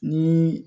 Ni